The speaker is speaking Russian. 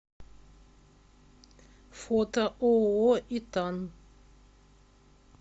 фото ооо итан